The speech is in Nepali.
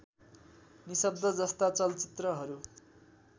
निशब्द जस्ता चलचित्रहरू